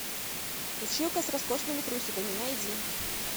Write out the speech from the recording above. училка с роскошными трусиками найди